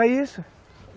É isso.